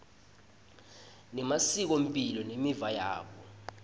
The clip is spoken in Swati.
nemasikomphilo nemiva yabo